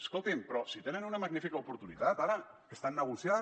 escolti’m però si tenen una magnífica oportunitat ara que estan negociant